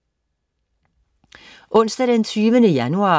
Onsdag den 20. januar